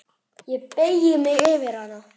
Ég beygi mig yfir hana.